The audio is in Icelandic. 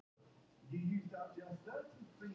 Á hann sér einhverja náttúrulega óvini?